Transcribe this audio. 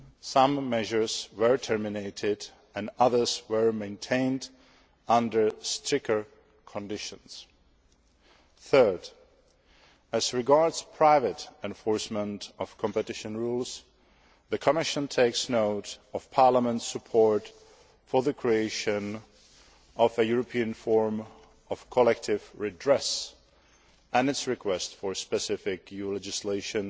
Some measures have been terminated and others have been maintained under stricter conditions. Thirdly, as regards private enforcement of competition rules, the Commission takes note of Parliament's support for the creation of a European form of collective redress, and of its request for specific EU legislation